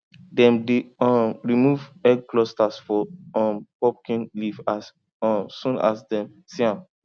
dem dey um remove egg clusters for um pumpkin leaf as um soon as dem see am